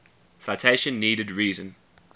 citation needed reason